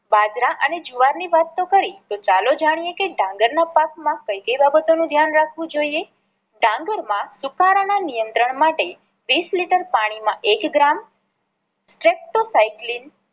બાજરા અને જુવાર ની વાત તો કરી તો ચાલો જાણીએ કે ડાંગર ના પાક માં કઈ કઈ બાબતો નું ધ્યાન રાખવું જોઈએ. ડાંગર માં સુપારા ના નિયત્રંણ માટે